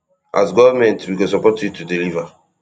as goment we go support you to deliver